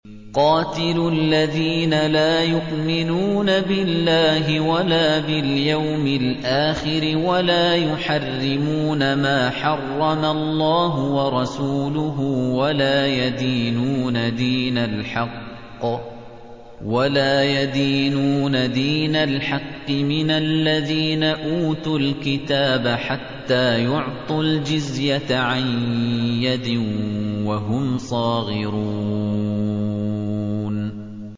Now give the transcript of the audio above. قَاتِلُوا الَّذِينَ لَا يُؤْمِنُونَ بِاللَّهِ وَلَا بِالْيَوْمِ الْآخِرِ وَلَا يُحَرِّمُونَ مَا حَرَّمَ اللَّهُ وَرَسُولُهُ وَلَا يَدِينُونَ دِينَ الْحَقِّ مِنَ الَّذِينَ أُوتُوا الْكِتَابَ حَتَّىٰ يُعْطُوا الْجِزْيَةَ عَن يَدٍ وَهُمْ صَاغِرُونَ